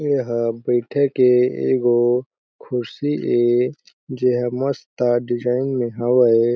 एहा बईठे के एगो खुर्सी ए जेहा मस्त डिजायन में हावय।